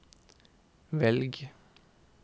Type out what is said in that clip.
velg